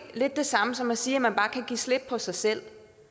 lidt det samme som at sige at man bare kan give slip på sig selv